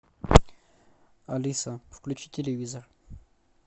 алиса включи телевизор